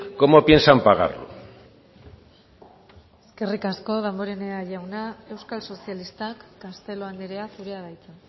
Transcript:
cómo piensan pagarlo eskerrik asko damborenea jauna euskal sozialistak castelo andrea zurea da hitza